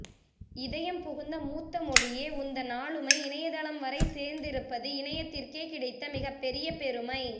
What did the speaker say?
இதயம் புகுந்த மூத்த மொழியே உந்தன் ஆளுமை இணையத் தளம்வரை சேர்ந்திருப்பது இணையத்திற்கே கிடைத்த மிகப்பெரிய பெருமை